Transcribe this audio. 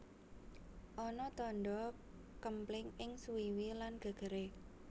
Ana tandha kempling ing suwiwi lan gegere